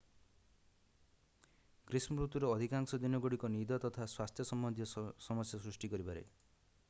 ଗ୍ରୀଷ୍ମ ଋତୁର ଅଧିକାଂଶ ଦିନଗୁଡ଼ିକ ନିଦ ତଥା ସ୍ୱାସ୍ଥ୍ୟ ସମ୍ବନ୍ଧୀୟ ସମସ୍ୟା ସୃଷ୍ଟି କରିପାରେ